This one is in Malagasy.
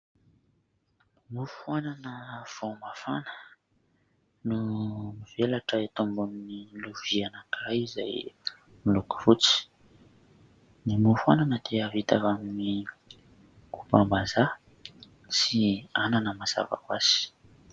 Mofo anana vao mafana no mivelatra eto ambonin'ny lovia anankiray izay miloko fotsy, ny mofo anana dia vita avy amin'ny kombam-bazaha sy anana mazava ho azy.